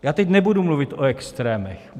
Já teď nebudu mluvit o extrémech.